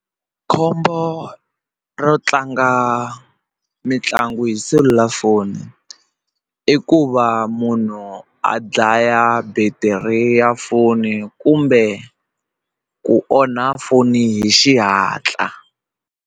Khombo ro tlanga mitlangu hi selulafoni i ku va munhu a dlaya battery ya foni kumbe ku onha foni hi xihatla.